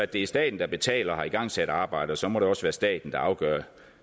det er staten der betaler og har igangsat arbejdet så må det også være staten der afgør